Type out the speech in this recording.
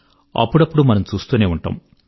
అప్పుడప్పుడూ మనం చూస్తూనే ఉంటాము